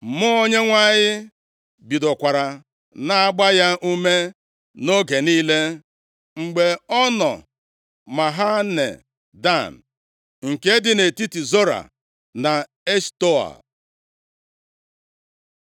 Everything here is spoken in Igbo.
Mmụọ Onyenwe anyị bidokwara na-agba ya ume nʼoge niile, mgbe ọ nọ Mahane Dan, nke dị nʼetiti Zora na Eshtaol.